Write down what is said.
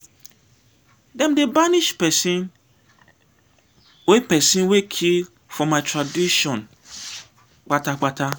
dem dey banish pesin wey pesin wey kill for my tradition kpata kpata.